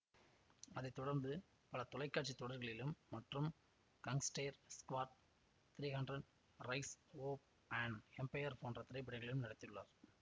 அதை தொடர்ந்து பல தொலைக்காட்சி தொடர்களிலும் மற்றும் gangster squad three hundred rise of an empire போன்ற திரைப்படங்களிலும் நடித்துள்ளார்